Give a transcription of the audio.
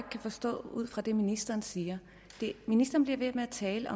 forstå det ud fra det ministeren siger ministeren bliver ved med at tale